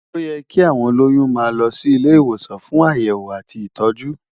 Óyè ki áwón ólóyùn má lò si ilé iwósàn fún àyèwó àtí itòjú